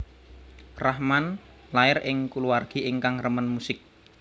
Rahman lair ing kulawargi ingkang remen musik